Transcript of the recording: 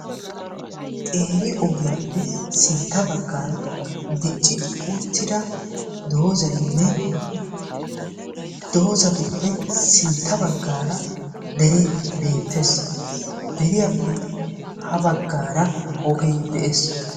Qeeri ogiyappe sintta baggaara dicci uttida doozaynne doozatuppe sintta baggaara deree beettes. Deriyappe ha baggaara ogee de"es.